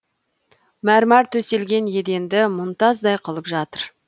мәрмар төселген еденді мұнтаздай қылып жатыр